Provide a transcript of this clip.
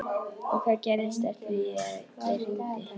Og hvað gerðist eftir að ég hringdi?